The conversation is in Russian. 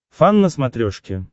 фан на смотрешке